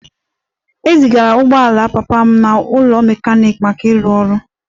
E zigara ụgbọ ala papa m n'ụlọ ọrụ mechanic maka ịrụ ọrụ